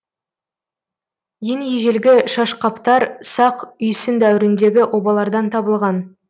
ең ежелгі шашқаптар сақ үйсін дәуіріндегі обалардан табылған